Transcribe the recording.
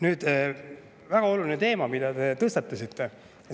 Nüüd, see on väga oluline teema, mille te tõstatasite.